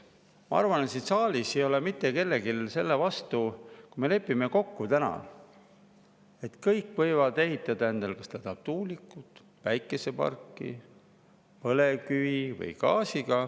Ma arvan, et siin saalis ei ole mitte kellelgi midagi selle vastu, kui me lepime kokku, et kõik võivad ehitada endale,: kas tahetakse tuulikut või päikeseparki, põlevkivi või gaasi.